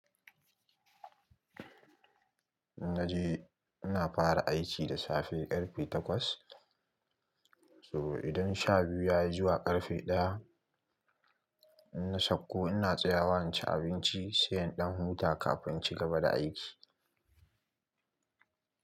Naje ina fara aiki da safe ƙarfe takwas. So idan sha biyu yayi zuwa ƙarfe ɗaya, in na sauko ina tsaya wa inci abinci, sai in ɗan huta kafin inci gaba da aiki.